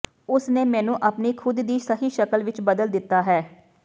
ਉਸ ਨੇ ਮੈਨੂੰ ਆਪਣੀ ਖੁਦ ਦੀ ਸਹੀ ਸ਼ਕਲ ਵਿਚ ਬਦਲ ਦਿੱਤਾ ਹੈ